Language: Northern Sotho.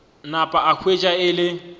napa a hwetša e le